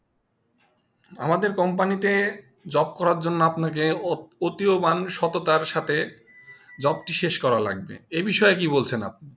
আমাদের Company তে job করা জন্য আপনা কে অতিওমান সত্ততার সাথে job টি শেষ কর লাগবে এ বিষয়ে কি বলছেন আপনি